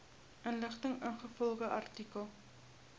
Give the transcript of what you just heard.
inligting ingevolge artikel